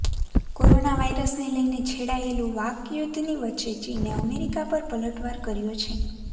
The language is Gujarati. કોરોના વાયરસને લઇને છેડાયેલુ વાકયુદ્ધની વચ્ચે ચીને અમેરિકા પર પલટવાર કર્યો છે